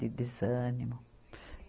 De desânimo.